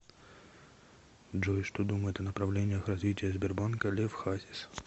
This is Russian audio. джой что думает о направлениях развития сбербанка лев хасис